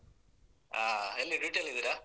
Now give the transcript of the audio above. ಹಾ ಎಲ್ಲಿ duty ಅಲ್ಲಿದ್ದೀರಾ?